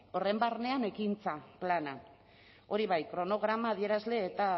horren barnean ekintza plana hori bai kronograma adierazle eta